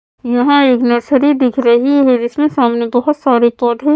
यहाँ एक नर्सरी दिख रही है जिसमें सामने बहुत सारे पौधे --